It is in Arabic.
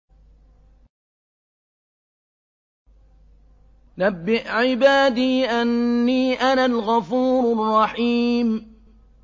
۞ نَبِّئْ عِبَادِي أَنِّي أَنَا الْغَفُورُ الرَّحِيمُ